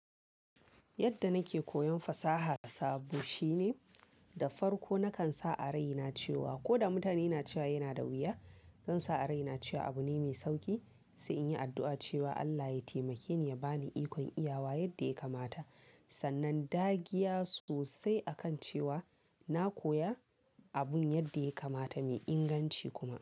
Yadda nake koyon fasaha sabo shine da farko nakan sa a raina cewa ko da mutane na cewa yana da wuya, zan sa a raina cewa abu ne mai sauki. Sai in yi addu'a cewa Allah ya taimake ni ya ba ni ikon iyawa yadda ya kamata. Sannan, dagiya sosai akan cewa na koya abun yadda ya kamata, mai inganci kuma.